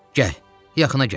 Gəl, yaxına gəl.